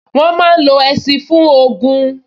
Wọ́n máa n lo ẹṣin fún ogun